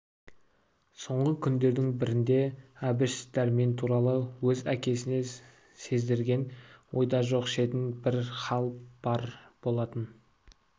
соңғы күндердің бірінде әбіш дәрмен туралы өз әкесіне сездірген ойда жоқ шетін бір хал бар болатын